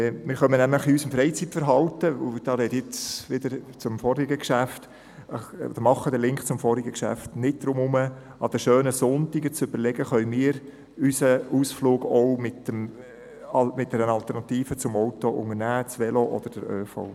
Wir kommen bei unserem Freizeitverhalten nicht darum herum – und hier stelle ich wieder eine Verbindung zum vorangehenden Geschäft her –, an den schönen Sonntagen zu überlegen, ob wir unsere Ausflüge nicht auch mit einer Alternative zum Auto unternehmen könnten, also mit den öffentlichen Verkehrsmitteln oder mit dem Velo.